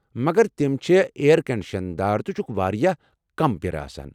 مگر تم چھےٚ اییر کنٛڈشن دار تہٕ چھكھ وارِیاہ كم بیرٕ آسان ۔